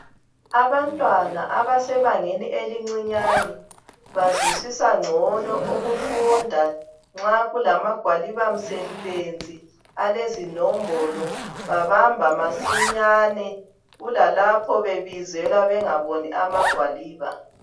Abantwana abasebangeni elicinyane bazwisisa ngcono ukufunda nxa kulamagwaliba msebenzi alezinombolo babama masinyane kulalapho bebizelwa bengaboni amagwaliba